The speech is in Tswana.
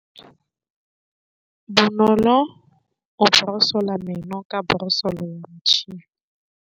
Bonolô o borosola meno ka borosolo ya motšhine.